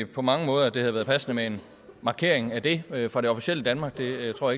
på mange måder at det havde været passende med en markering af det fra det officielle danmark det tror